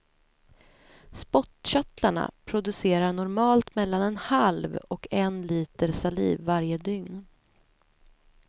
Spottkörtlarna producerar normalt mellan en halv och en liter saliv varje dygn.